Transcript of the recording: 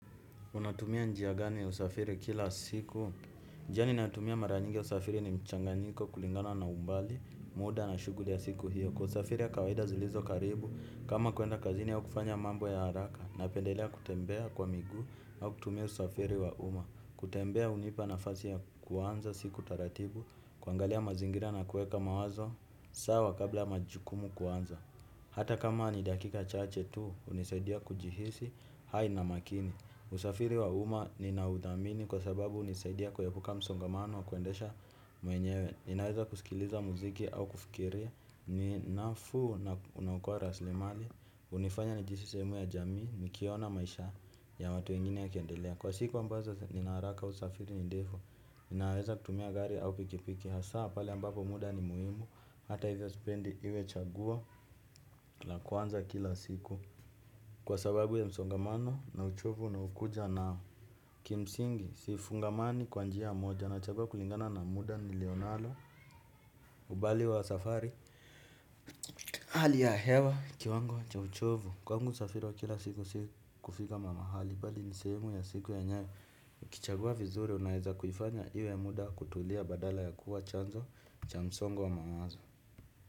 Unatumia njia gani ya usafiri kila siku? Njia ninatumia mara nyingi ya usafiri ni mchanganyiko kulingana na umbali, muda na shughuli ya siku hiyo. Kwa usafiri ya kawaida zilizo karibu, kama kuenda kazini ya kufanya mambo ya haraka, na pendelia kutembea kwa migu, au kutumia usafiri wa uma. Kutembea hunipa nafasi ya kuanza siku taratibu, kuangalia mazingira na kueka mawazo, sawa kabla majukumu kuanza. Hata kama ni dakika chache tu, hunisadia kujihisi, hai na makini. Usafiri wa uma nina udhamini kwa sababu hunisaidia kuepuka msongamano wa kuendesha mwenyewe ninaweza kusikiliza muziki au kufikiria ninafu na hukua rasilimali hunifanya nijihisi sehemu ya jamii. Nikiona maisha ya watu wengine yakiendelea kwa siku ambazo nina haraka usafiri ni ndefu. Ninaweza kutumia gari au pikipiki hasa pale ambapo muda ni muhimu. Hata hivyo sipendi iwe chaguo la kwanza kila siku. Kwa sababu ya msongamano na uchovu unaokuja nao kimsingi sifungamani kwa njia moja nachagua kulingana na muda nilio nalo ubali wa safari hali ya hewa ni kiwango cha uchovu kwangu usafiri wa kila siku si kufika mahali bali ni sehemu ya siku yenye ukichagua vizuri unaeza kuifanya iwe muda kutulia badala ya kuwa chanzo cha msongo wa mawazo.